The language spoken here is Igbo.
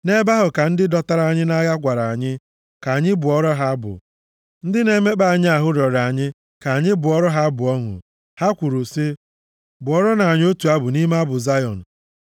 Nʼebe ahụ ka ndị dọtara anyị nʼagha gwara anyị ka anyị bụọrọ ha abụ, ndị na-emekpa anyị ahụ rịọrọ anyị ka anyị bụọrọ ha abụ ọṅụ; ha kwuru sị, “Bụọrọnụ anyị otu abụ nʼime abụ Zayọn!”